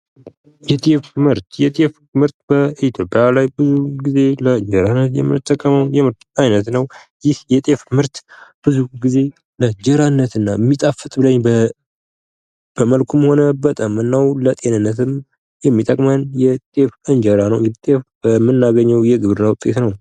የጤፍ ምርት፡-የጤፍ ምርት በኢትዮጵያ ብዙ ጊዜ ለእንጀራ የምንጠቀመው የምርት አይነት ነው ።ይህ የጤፍ ምርት ብዙ ጊዜ ለእንጀራነትና የሚጣፍጥ፣ በመልኩም ሆነ በጣምናው ለጤንነትም የሚጠቅመን የጤፍ እንጀራ ነው ።እንግዲህ ጤፍ በምናገኘው የግብርና ውጤት ነው ።